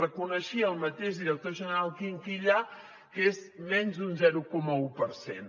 reconeixia el mateix director general quinquillà que és menys d’un zero coma un per cent